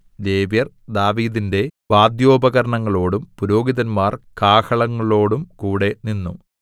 ലേവ്യർ ദാവീദിന്റെ വാദ്യോപകരണങ്ങളോടും പുരോഹിതന്മാർ കാഹളങ്ങളോടുംകൂടെ നിന്നു